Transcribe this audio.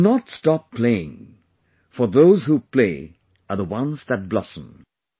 Do not stop playing, for those who play are the ones that blossom